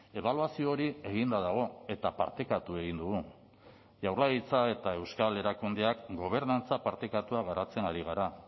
ebaluazio hori eginda dago eta partekatu egin dugu jaurlaritza eta euskal erakundeak gobernantza partekatua garatzen ari gara